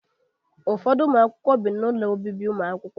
Ụfọdụ ụmụ akwụkwọ bi na ụlọ obibi ụmụakwụkwọ.